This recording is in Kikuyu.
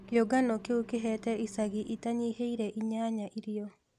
Kĩũngano kĩũ kĩhete icagi itanyihĩire īnyanya īrīo